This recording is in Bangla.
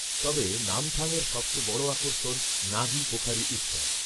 তবে নামথাংয়ের সবচেয়ে বড় আকর্ষণ নাগি পোখারি উৎসব